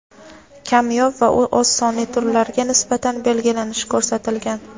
kamyob va oz sonli turlariga nisbatan belgilanishi ko‘rsatilgan.